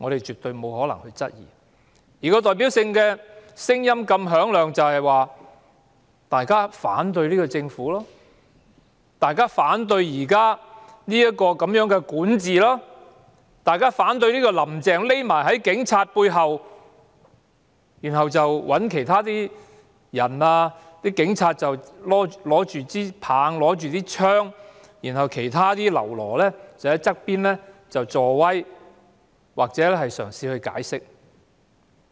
這種響亮的聲音，反映出大家反對政府、反對其管治、反對"林鄭"。他們只躲在警察背後，讓警察拿着警棍和警槍打壓，而其他嘍囉則在旁吶喊助威或試圖解釋。